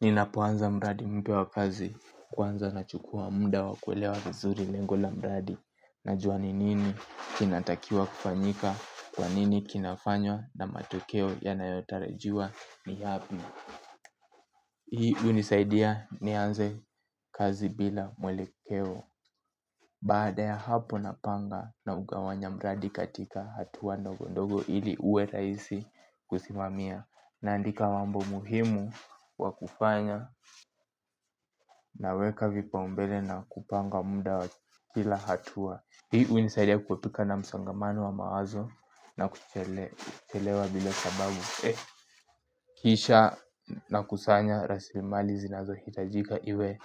Ninapoanza mradi mpya wa kazi kuanza nachukua muda wa kuelewa vizuri lengo la mradi najua ni nini kinatakiwa kufanyika kwanini kinafanywa na matokeo ya nayotarajiwa ni yapi. Hii unisaidia nianze kazi bila mwelekeo baada ya hapo napanga na ugawanya mradi katika hatuwa ndogondogo ili uwe raisi kusimamia naandika mambo muhimu wa kufanya. Naweka vipaumbele na kupanga muda wa kila hatua. Hii hunisaidia kuepuka na msongamano wa mawazo na kuchelewa vile sababu kisha nakusanya rasilimali zinazo hitajika iwe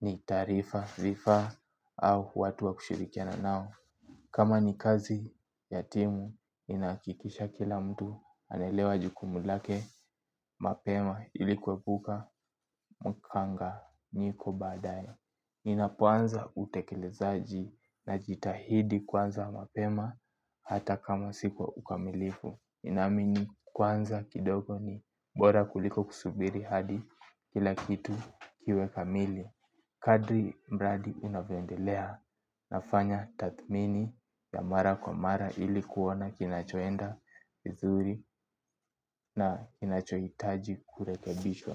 ni taarifa sifa au watu wa kushirikiana nao. Kama ni kazi ya timu ninahakikisha kila mtu anaelewa jukumu lake. Mapema ili kuepuka mkanganyiko baadaye. Inapoanza utekelezaji na jitahidi kwanza mapema hata kama siko ukamilifu ninaamini kwanza kidogo ni bora kuliko kusubiri hadi kila kitu kiwe kamili. Kadri mradi inavyoendelea nafanya tathmini ya mara kwa mara ili kuona kinachoenda vizuri na kinachohitaji kurekebishwa.